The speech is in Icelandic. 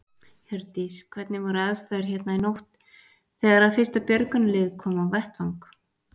Hjördís: Hvernig voru aðstæður hérna í nótt þegar að fyrsta björgunarlið kom á vettvang?